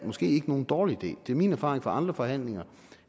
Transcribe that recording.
måske ikke nogen dårlig idé det er min erfaring fra andre forhandlinger